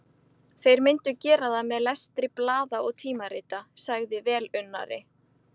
Þeir myndu gera það með lestri blaða og tímarita, sagði velunnari